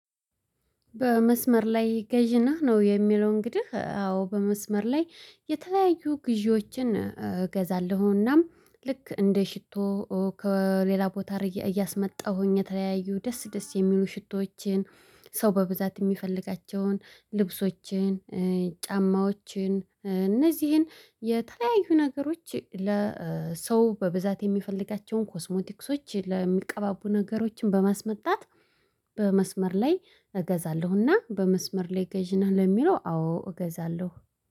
በመስመር ላይ ገዢ ነህ ነው? የሚለው እንግዲህ አዎ በመስመር ላይ የተለያዩ ግዢዎችን እገዛለሁናም ልክ እንደ ሽቶ ከሌላ ቦታ እያስመጣሁኝ የተለያዩ ደስ ደስ የሚሉ ሽቶዎችን ሰው በብዛት የሚፈልጋቸውን ልብሶችን ጫማዎችን እነዚህን የተለያዩ ነገሮች ለሰው በብዛት የሚፈልጋቸውን ኮስሞቲክሶች ለሚቀባቡ ነገሮችን በማስመጣት። በመስመር ላይ እገዛለሁና በመስመር ላይ ገዢ ነህ ለሚለው አዎ እገዛለሁ